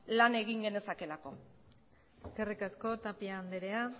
lan egin genezakeelako eskerrik asko tapia andrea